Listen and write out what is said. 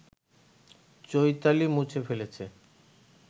চৈতালি মুছে ফেলেছে